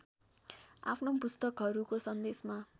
आफ्नो पुस्तकहरूको सन्देशमा